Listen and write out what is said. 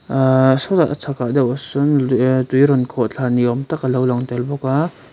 ah sawtah a chhak deuhah sawn tui rawn khawhthla ni awm tak alo lang tel bawk a.